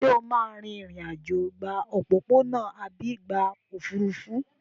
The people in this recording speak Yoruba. Ṣé o máa rìnrìn-àjò gba òpópónà àbí gba òfúrufú?